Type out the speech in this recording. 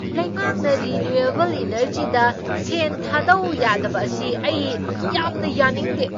ꯂꯩꯉꯥꯛꯅ ꯔꯤꯅ꯭ꯌꯨꯋꯦꯕꯜ ꯑꯦꯅꯔꯖꯤꯗ ꯁꯦꯟ ꯊꯥꯗꯧ ꯌꯥꯗꯕ ꯑꯁꯤ ꯑꯩ ꯌꯥꯝꯅ ꯌꯥꯅꯤꯡꯗꯦ ꯫